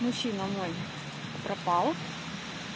мужчина мой пропал